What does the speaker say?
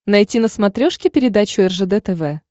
найти на смотрешке передачу ржд тв